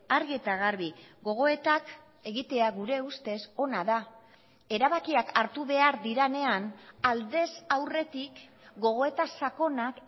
argi eta garbi gogoetak egitea gure ustez ona da erabakiak hartu behar direnean aldez aurretik gogoeta sakonak